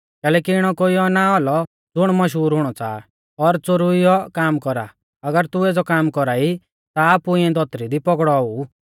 कैलैकि इणौ कोइयौ ना औलौ ज़ुण मशहूर हुणौ च़ाहा और च़ोरुइयौ काम कौरा अगर तू एज़ौ काम कौरा ई ता आपु इऐं धौतरी दी पौगड़ौ औऊ